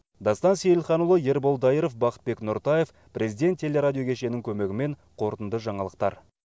дастан сейілханұлы ербол дайыров бақытбек нұртаев президент телерадио кешенінің көмегімен қорытынды жаңалықтар